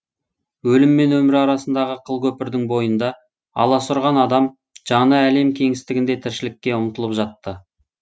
өлім мен өмір арасындағы қылкөпірдің бойында аласұрған адам жаны әлем кеңістігінде тіршілікке ұмтылып жатты